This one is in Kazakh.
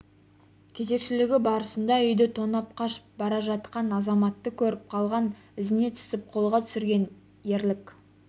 кезекшілігі барысында үйді тонап қашып бара жатқан азаматты көріп қалған ізіне түсіп қолға түсірген ерлік